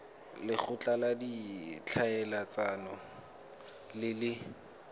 lekgotla la ditlhaeletsano le le